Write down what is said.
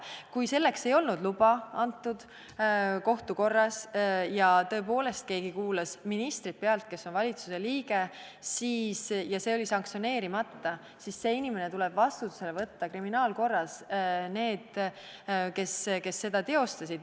Kui pealtkuulamiseks ei olnud luba antud kohtu korras ja tõepoolest keegi kuulas pealt ministrit, kes on ju valitsuse liige, kui see oli sanktsioneerimata, siis need, kes selle teostasid, tuleb vastutusele võtta kriminaalkorras.